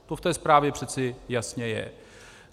To v té zprávě přece jasně je.